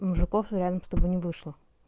у мужиков реально чтобы не вышло